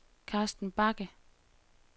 Karsten Bagge